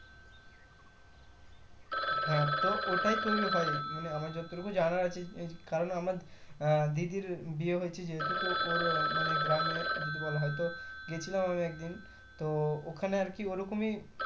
হ্যাঁ তো ওটাই তৌরি হয় মানে আমার যতটুকু জানা আছে এ কারণ আমার আহ দিদির বিয়ে হয়েছে যেহুতু ওর মানে গ্রামে যদি বলা হয় তো গেছিলাম আমি একদিন তো ওখানে আরকি ওই রকমই।